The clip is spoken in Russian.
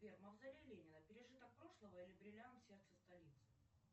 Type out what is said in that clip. сбер мавзолей ленина пережиток прошлого или бриллиант сердца столицы